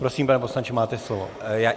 Prosím, pane poslanče, máte slovo.